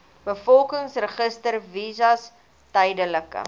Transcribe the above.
bevolkingsregister visas tydelike